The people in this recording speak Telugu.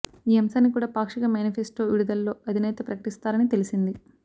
ఈ అంశాన్ని కూడా పాక్షిక మేనిఫెస్టో విడుదలలో అధినేత ప్రకటిస్తారని తెలిసింది